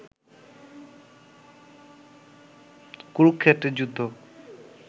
কুরুক্ষেত্রের যুদ্ধ